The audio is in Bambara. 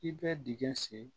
I bɛ dingɛ sen